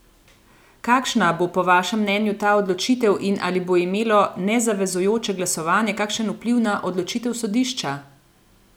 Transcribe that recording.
Kakšna bo po vašem mnenju ta odločitev in ali bo imelo nezavezujoče glasovanje kakšen vpliv na odločitev sodišča?